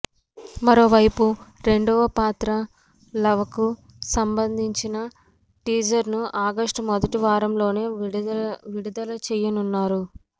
మరోవైపు రెండవ పాత్ర లవకు సంబందించిన టీజర్ ను ఆగష్టు మొదటి వారంలోనే విడుదలచేయనున్నారు